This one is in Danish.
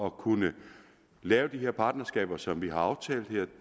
at kunne lave de partnerskaber som vi har aftalt her